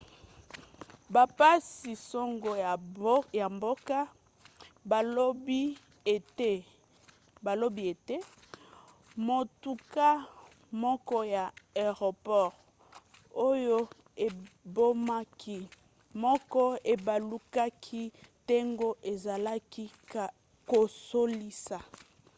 bapanzi-sango ya mboka balobi ete motuka moko ya aeroport oyo ebomaki moko ebalukaki ntango ezalaki kosalisa